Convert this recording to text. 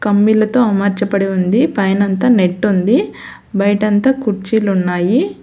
కంబిలతో అమర్చబడి ఉంది పైన అంతా నెట్ ఉంది బయట అంతా కుర్చీలు ఉన్నాయి.